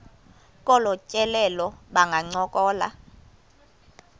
kolu tyelelo bangancokola